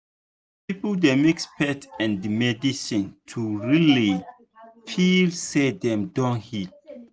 some people dey mix faith and medicine to really feel say dem don heal.